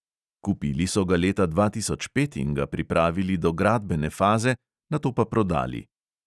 Kupili so ga leta dva tisoč pet in ga pripravili do gradbene faze, nato pa prodali.